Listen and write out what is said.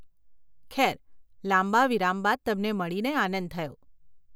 ખેર, લાંબા વિરામ બાદ તમને મળીને આનંદ થયો.